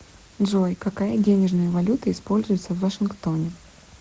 джой какая денежная валюта используется в вашингтоне